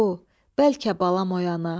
bəlkə balam oyana.